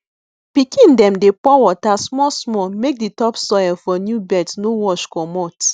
pikin dem dey pour water small small make di topsoil for new beds no wash comot